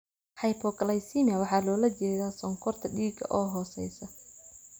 Hypoglycemia waxaa loola jeedaa sonkorta dhiiga oo hooseysa.